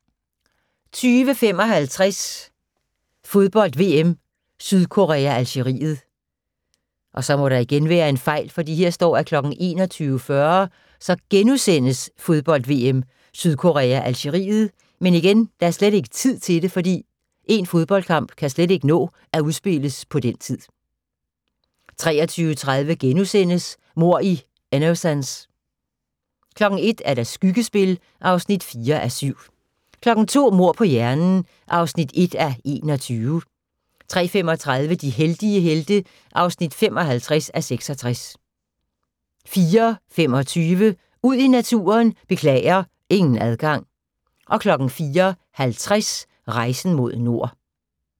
20:55: Fodbold: VM -Sydkorea-Algeriet 21:40: Fodbold: VM -Sydkorea-Algeriet * 23:30: Mord i Innocence * 01:00: Skyggespil (4:7) 02:00: Mord på hjernen (1:21) 03:35: De heldige helte (55:66) 04:25: Ud i naturen: Beklager, ingen adgang 04:50: Rejsen mod nord